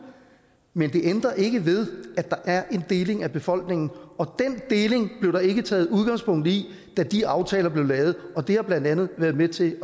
men det ændrer ikke ved at der er en deling af befolkningen og den deling blev der ikke taget udgangspunkt i da de aftaler blev lavet og det har blandt andet været med til at